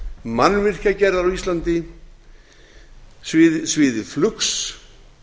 mannvirkjagerðar á íslandi sviði flugs